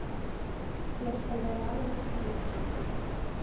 Ég skal vera alveg skýr.